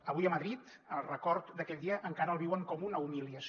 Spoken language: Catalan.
avui a madrid el record d’aquell dia encara el viuen com una humiliació